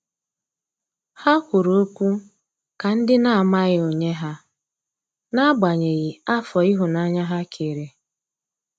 Ha kwụrụ ọkwụ ka ndi na amaghị onye ha, n'agbanyeghi afọ ihunanya ha kere.